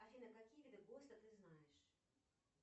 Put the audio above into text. афина какие виды бокса ты знаешь